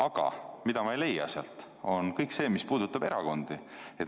Aga mida ma sealt ei leia, on kõik see, mis puudutab erakondi.